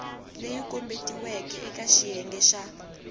leyi kombetiweke eka xiyenge xa